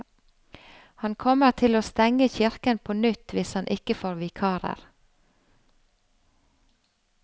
Han kommer til å stenge kirken på nytt hvis han ikke får vikarer.